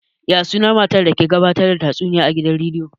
Ya sunan matar da ke gabatar da shirin tatsuniya a gidan rediyo?